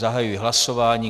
Zahajuji hlasování.